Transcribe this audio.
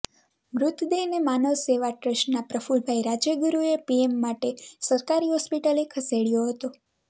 મૃતદેહને માનવ સેવા ટ્રસ્ટના પ્રફુલભાઈ રાજયગુરૃએ પીએમ માટે સરકારી હોસ્પિટલે ખસેડયો હતો